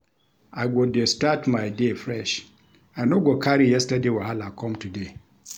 I go dey start my day fresh, I no go carry yesterday wahala com today.